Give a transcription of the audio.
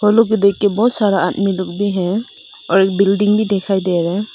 ओ लोग भी देखकर बहुत सारा आदमी लोग भी है और बिल्डिंग भी दिखाई दे रहा है।